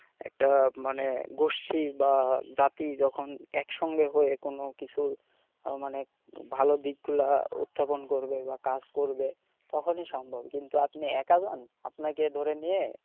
একটা মানে গোষ্ঠী বা জাতি যখন একসঙ্গে হয়ে কোন কিছু মানে ভালো দিকগুলো উত্থাপন করবে বা কাজ করবে তখনই সম্ভব কিন্তু আপনি একা যান আপনাকে ধরে নিয়ে,